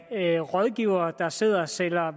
af rådgivere der sidder og sælger